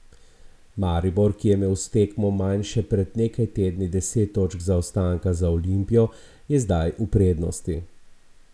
Maribor, ki je imel s tekmo manj še pred nekaj tedni deset točk zaostanka za Olimpijo, je zdaj v prednosti.